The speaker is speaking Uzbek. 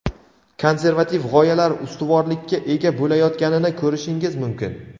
konservativ g‘oyalar ustuvorlikka ega bo‘layotganini ko‘rishingiz mumkin.